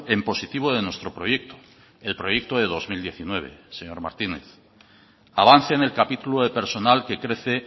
en positivo de nuestro proyecto el proyecto de dos mil diecinueve señor martínez avance en el capítulo de personal que crece